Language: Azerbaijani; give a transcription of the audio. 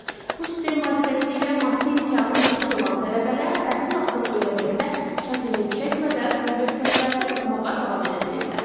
Bu sistem vasitəsilə maddi imkanı məhdud olan tələbələr təhsil haqqını ödəməkdə çətinlik çəkmədən universitetlərdə oxumağa davam edə bilirlər.